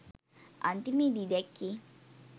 අන්තිමේදී දැක්කේ